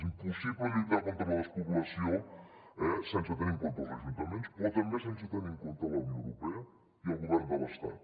és impossible lluitar contra la despoblació eh sense tenir en compte els ajuntaments però també sense tenir en compte la unió europea i el govern de l’estat